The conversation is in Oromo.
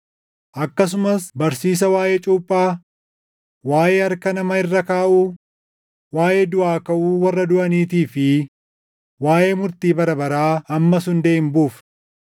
akkasumas barsiisa waaʼee cuuphaa, waaʼee harka nama irra kaaʼuu, waaʼee duʼaa kaʼuu warra duʼaniitii fi waaʼee murtii bara baraa ammas hundee hin buufnu.